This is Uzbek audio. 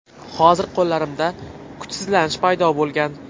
Hozir qo‘llarimda kuchsizlanish paydo bo‘lgan.